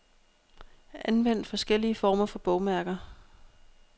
Anvend forskellige former for bogmærker.